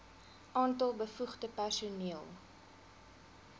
aantal bevoegde personeel